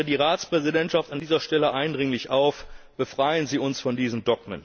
Ich fordere die Ratspräsidentschaft an dieser Stelle eindringlich auf Befreien Sie uns von diesen